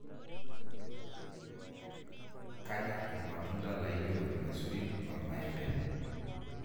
kanyor ilmatunda laijo ilmaisurin olmaembe